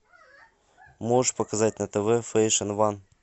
можешь показать на тв фэшн ван